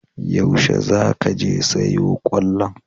Yaushe za ka je sayo kwallon?